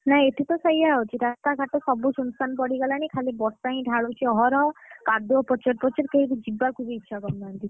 ନାଇଁ ଏଠି ତ ସେଇଆ ହଉଛି, ରାସ୍ତାଘାଟ ସବୁ ସୁନସାନ ପଡ଼ିଗଲାଣି ଖାଲି ବର୍ଷା ହିଁ ଢାଳୁଛି ଅହରହ କାଦୁଅ ପଚର ପଚର କେହିବି ଯିବାକୁ ବି ଇଚ୍ଛା କରୁ ନାହାନ୍ତି।